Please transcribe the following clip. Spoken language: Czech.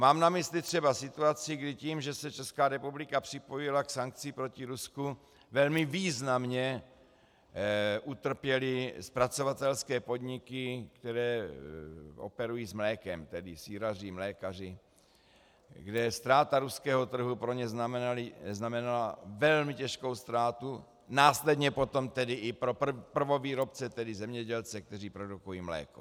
Mám na mysli třeba situaci, kdy tím, že se Česká republika připojila k sankcím proti Rusku, velmi významně utrpěly zpracovatelské podniky, které operují s mlékem, tedy sýraři, mlékaři, kde ztráta ruského trhu pro ně znamenala velmi těžkou ztrátu, následně potom tedy i pro prvovýrobce, tedy zemědělce, kteří produkují mléko.